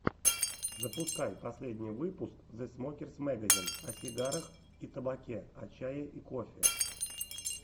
запускай последний выпуск зэ смокерс мэгазин о сигарах и табаке о чае и кофе